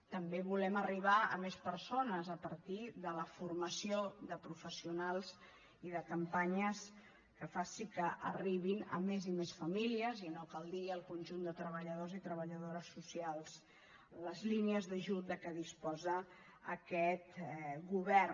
també volem arribar a més persones a partir de la formació de professionals i de campanyes que faci que arribin a més i més famílies i no cal dir al conjunt de treballadors i treballadores socials les línies d’ajut de què disposa aquest govern